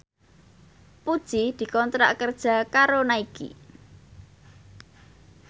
Puji dikontrak kerja karo Nike